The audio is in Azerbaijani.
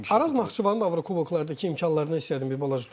Araz Naxçıvanın Avrokuboklardakı imkanlarına istəyərdim bir balaca toxunum.